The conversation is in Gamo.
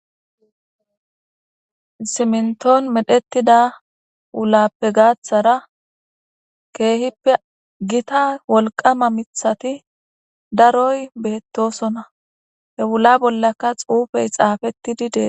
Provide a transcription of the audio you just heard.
Simintoni medhetida wulappe gaathara keeppe gitta wolqama mithati daroyi betosona, he wula bollaka xuufeyi xaafetidi Desi.